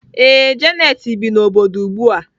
Ee, Janet bi n'obodo ugbu a.